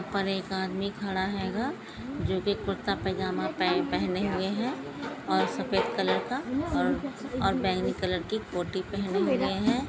ऊपर एक आदमी खड़ा हेंगा जोकी कुरता पजामा पहने हुए है और सफ़ेद कलर का और बैंगनी कलर की कोटि पेहनी हुए है।